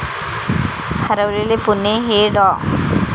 हरवलेले पुणे हे डॉ.